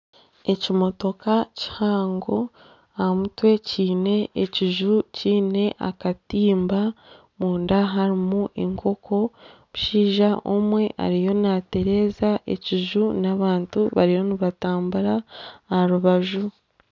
Ekimotoka kihango aha mutwe kiine ekiju kiine akatimba, omunda harimu enkooko. Omushaija omwe ariyo naatereza ekiju n'abantu bariyo nibatambura aharubaju.